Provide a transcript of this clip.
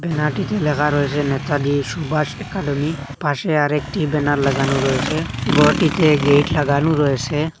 ব্যানারটিতে লেখা রয়েছে নেতাজি সুভাষ একাডেমী পাশে আরেকটি ব্যানার লাগানো রয়েছে ঘরটিতে গেইট লাগানো রয়েছে।